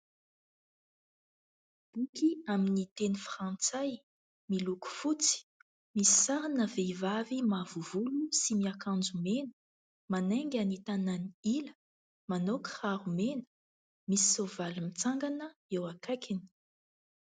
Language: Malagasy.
Boky amin'ny teny frantsay, miloko fotsy ; misy sarina vehivavy mavo volo sy miakanjo mena manainga ny tanany ila manao kiraro mena. Misy soavaly mitsangana eo akaikiny.